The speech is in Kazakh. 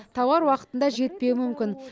тауар уақытында жетпеуі мүмкін